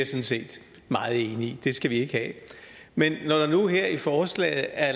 set meget enig i det skal vi ikke have men når der nu her i forslaget er